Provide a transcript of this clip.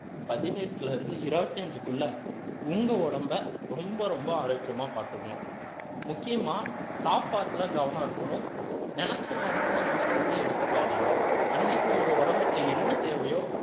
பதினெட்டுல இருந்து இருபத்தி அஞ்சுக்குள்ள உங்க உடம்பை ரொம்ப ரொம்ப ஆரோக்கியமா பார்த்துக்கணும் முக்கியமா சாப்பாட்டுல கவனம் இருக்கணும் நினைச்ச நேரத்துல நினைச்சதை எடுத்துக்காதீங்க அன்னைக்கு உங்க உடம்புக்கு என்ன தேவையோ